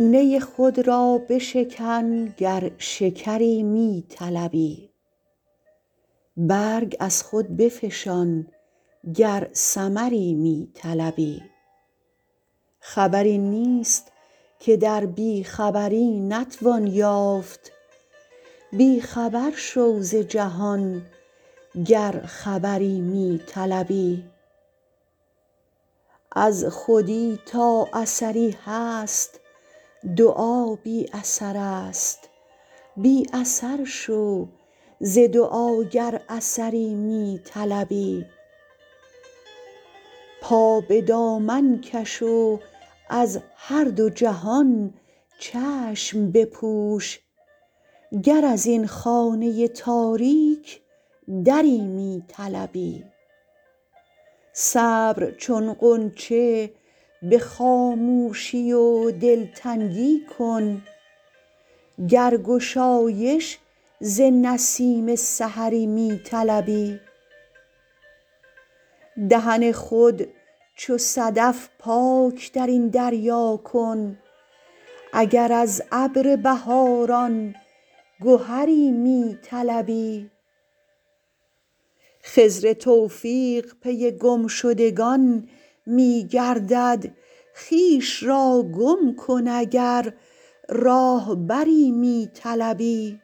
نی خود را بشکن گر شکری می طلبی برگ از خود بفشان گر ثمری می طلبی خبری نیست که در بیخبری نتوان یافت بیخبر شو ز جهان گر خبری می طلبی از خودی تا اثری هست دعا بی اثرست بی اثر شو ز دعا گر اثری می طلبی پا به دامن کش و از هر دو جهان چشم بپوش گر ازین خانه تاریک دری می طلبی صبر چون غنچه به خاموشی و دلتنگی کن گر گشایش ز نسیم سحری می طلبی دهن خود چو صدف پاک درین دریا کن اگر از ابر بهاران گهری می طلبی خضر توفیق پی گمشدگان می گردد خویش را گم کن اگر راهبری می طلبی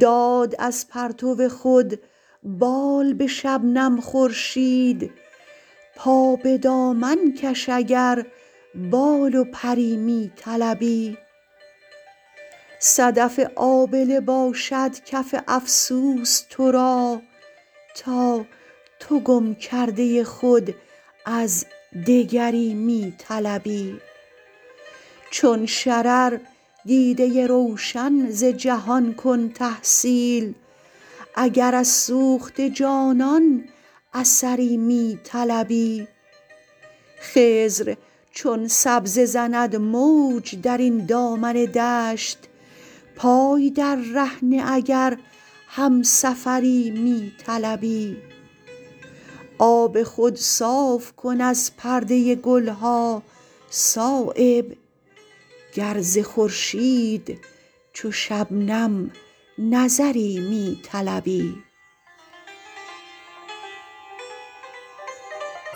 داد از پرتو خود بال به شبنم خورشید پا به دامن کش اگر بال و پری می طلبی صدف آبله باشد کف افسوس ترا تا تو گم کرده خود از دگری می طلبی چون شرر دیده روشن ز جهان کن تحصیل اگر از سوخته جانان اثری می طلبی خضر چون سبزه زند موج درین دامن دشت پای در ره نه اگر همسفری می طلبی آب خود صاف کن از پرده گلها صایب گر ز خورشید چو شبنم نظری می طلبی